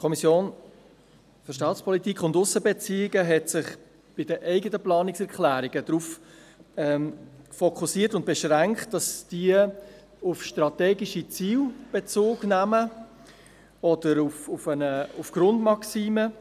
Die SAK hat sich darauf beschränkt, Planungserklärungen zu verfassen, die auf strategische Ziele, auf Grundmaximen oder auf Priorisierungen Bezug nehmen.